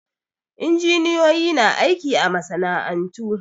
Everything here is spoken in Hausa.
Injiniyoyi na aiki a masana'antu